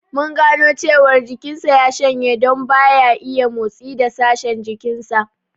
Mun gano cewar jikin sa ya shanye don ba ya iya motsi da sashen jikin sa